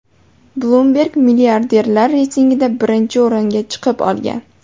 Bloomberg milliarderlar reytingida birinchi o‘ringa chiqib olgan .